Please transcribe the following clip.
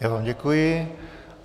Já vám děkuji.